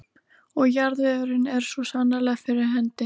Og jarðvegurinn er svo sannarlega fyrir hendi.